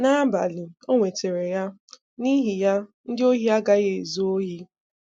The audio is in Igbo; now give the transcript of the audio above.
N’ábálị, ò nwètàrà ya, n’ihi ya, ndị ọ̀hì agaghị ezu òhì.